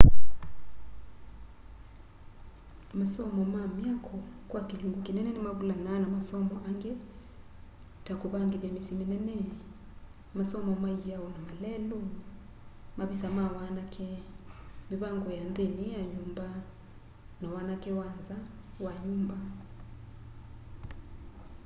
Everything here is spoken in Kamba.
masomo ma myako kwa kilungu kinene nimavulanaa na masomo angi ta kuvangithya misyi minene masomo ma iao na malelu mavisa ma wanake mivango ya nthini ya nyumba na wanake wa nza wa nyumba